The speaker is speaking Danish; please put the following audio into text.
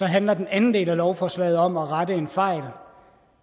handler den anden del af lovforslaget om at rette en fejl